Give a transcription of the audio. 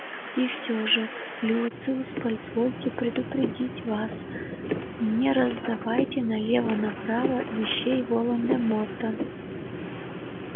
и все же люциус позвольте предупредить вас не раздавайте налево направо вещей волан де морта